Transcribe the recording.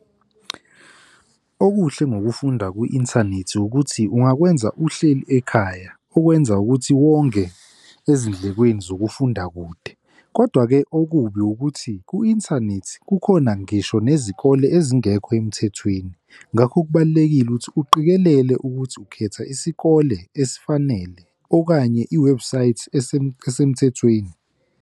Okuhle ngokufunda kwi-inthanethi ukuthi ungakwenza uhleli ekhaya okwenza ukuthi wonge ezindlekweni zokufunda kude. Kodwa-ke okubi ukuthi ku-inthanethi kukhona ngisho nezikole ezingekho emthethweni. Ngakho kubalulekile ukuthi uqikelele ukuthi ukhetha isikole esifanele okanye iwebhusayithi esemthethweni.